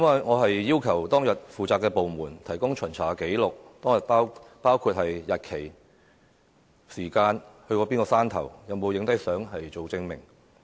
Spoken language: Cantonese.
我要求當日負責的部門提供巡查紀錄，包括巡查日期、時間、所到過的山頭，以及照片證明。